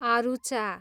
आरूचा